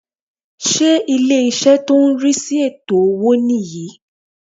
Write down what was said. Ṣé ilé-ìṣẹ́ tó n rí sí ètò owó nì yan